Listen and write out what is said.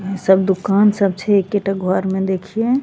इ सब दुकान सब छै एकेटा घर में देखिये --